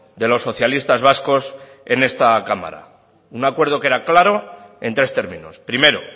de los socialistas vascos en esta cámara un acuerdo que era claro en tres términos primero